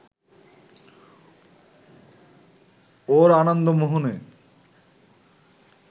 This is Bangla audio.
ওর আনন্দমোহনে